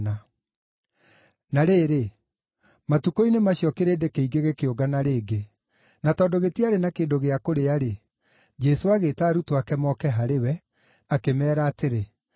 Na rĩrĩ, matukũ-inĩ macio kĩrĩndĩ kĩingĩ gĩkĩũngana rĩngĩ. Na tondũ gĩtiarĩ na kĩndũ gĩa kũrĩa-rĩ, Jesũ agĩĩta arutwo ake moke harĩ we, akĩmeera atĩrĩ,